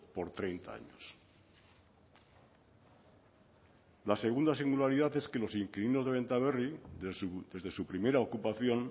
por treinta años la segunda singularidad es que los inquilinos de bentaberri desde su primera ocupación